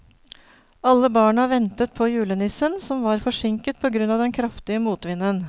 Alle barna ventet på julenissen, som var forsinket på grunn av den kraftige motvinden.